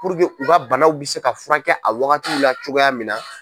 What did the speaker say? Puruke u ka banaw bɛ se ka furakɛ a wagati la cogoya min na.